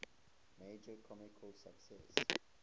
major commercial success